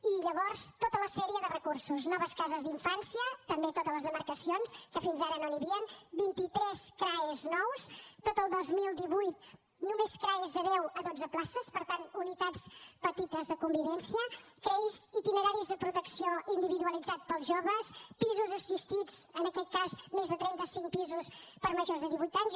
i llavors tota la sèrie de recursos noves cases d’infància també a totes les demarcacions que fins ara no n’hi havien vint i tres crae nous tot el dos mil divuit només crae de deu a dotze places per tant unitats petites de convivència crei itineraris de protecció individualitzats per als joves pisos assistits en aquest cas més de trenta cinc pisos per a majors de divuit anys